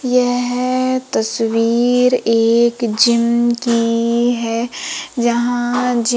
यह तस्वीर एक जिम की है जहां जि--